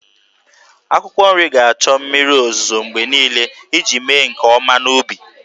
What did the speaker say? Akwụkwọ nri ga-achọ mmiri ozuzo mgbe niile iji mee nke ọma n'ubi.